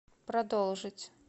продолжить